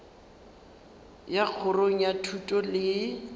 ya kgorong ya thuto le